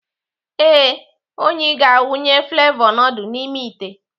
Ee, Onyi ga-awụnye flevọ nudul n'ime ite.